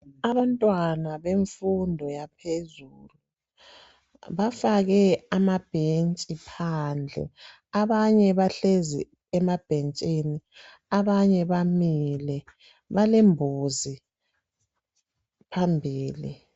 Abantwana bemfundo yaphezulu bafake amabhentshi phandle .Abanye bahlezi emabhentshini ,abanye bamile Balembuzi phambili